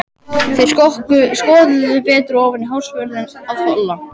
Þeir skoðuðu betur ofan í hársvörðinn á Tolla.